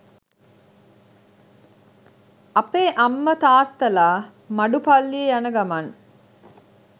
අපේ අම්ම තාත්තලා මඩු පල්ලි යන ගමන්